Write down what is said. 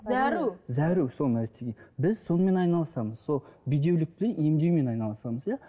зәру зәру сол нәрестеге біз сонымен айналысамыз сол бедеулікті емдеумен айналысамыз иә